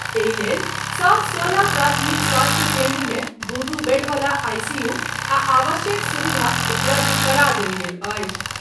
एहि लेल सब सोलह प्राथमिक स्वास्थ्य केन्द्र मे दू दू बेड वला आईसीयू आ आवश्यक सुविधा उपलब्ध करा देल गेल अछि।